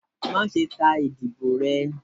Maṣe ta idibo rẹ!